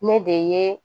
Ne de ye